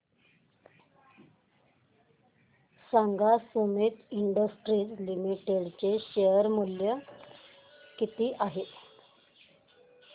सांगा Sumeet industries limited चे share मूल्य किती आहे